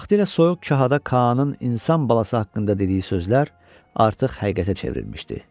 Vaxtilə soyuq kahada Kaanın insan balası haqqında dediyi sözlər artıq həqiqətə çevrilmişdi.